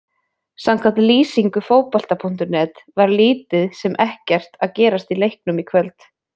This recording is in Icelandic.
Samkvæmt lýsingu Fótbolta.net var lítið sem ekkert að gerast í leiknum í kvöld.